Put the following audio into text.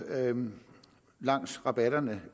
langs rabatterne